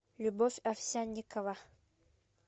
любовь овсянникова